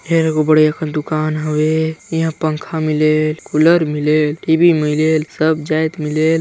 फेर एदे बढ़िया कर दुकान हवे इहा पंखा मिलेल कूलर मिलेल टी_वी मिलेल सब जायत मिलेल।